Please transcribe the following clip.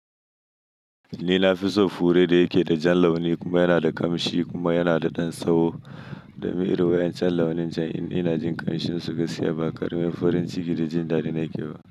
Ni na fi so fure da yake da jan launi kuma yana da ƙamshi kuma yana da ɗan tsaho da mi irin wa'incan launi jan in ina jin ƙamshin suka siyar ba ƙaramin farin ciki da jin dadi na yake ba.